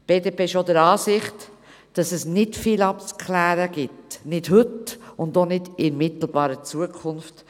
Die BDP ist auch der Ansicht, dass es nicht viel abzuklären gibt, nicht heute und auch nicht in mittelbarer Zukunft.